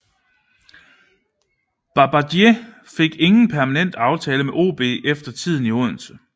Babajide fik ingen permanent aftale med OB efter tiden i Odense